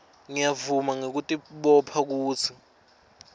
ngiyavuma ngekutibopha kutsi